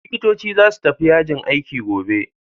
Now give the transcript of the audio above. Likitoci za su tafi yajin aiki gobe.